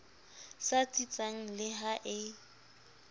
sa tsitsang le ha e